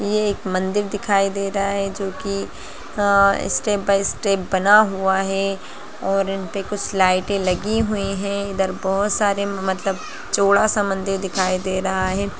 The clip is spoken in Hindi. ये एक मंदिर दिखाई दे रहा है जो की आ स्टेप बाइ स्टेप बना हुआ है और इन पे कुछ लाइटे लगी हुई हैं इधर बहुत सारे मतलब जोड़ा सा मंदिर दिखाई दे रहा है।